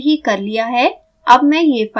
मैंने यह पहले ही कर लिया है